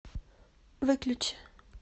выключи